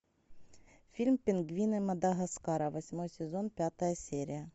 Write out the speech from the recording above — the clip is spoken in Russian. фильм пингвины мадагаскара восьмой сезон пятая серия